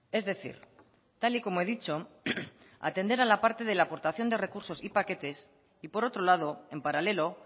es decir tal y como he dicho atender a la parte de la aportación de recursos y paquetes y por otro lado en paralelo